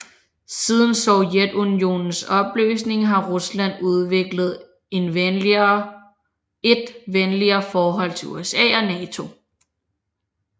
Siden Sovjetunionens opløsning har Rusland udviklet et venligere forhold til USA og NATO